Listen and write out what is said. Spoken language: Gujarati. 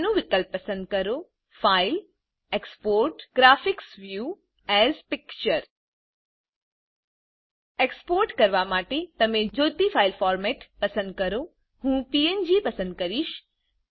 મેનુ વિકલ્પ પસંદ કરો ફાઇલેગ્ટગટ એક્સપોર્ટગ્ટગ્ટ graphics view as picture export કરવા માટે તમે જોઈતી ફાઈલ ફોરમેટ પસંદ કરો હું પીએનજી પસંદ કરીશ